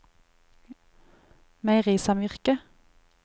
meierisamvirket